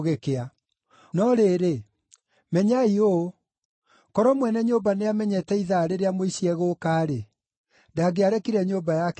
No rĩrĩ, menyai ũũ: Korwo mwene nyũmba nĩamenyete ithaa rĩrĩa mũici egũũka-rĩ, ndangĩarekire nyũmba yake ĩtuuo.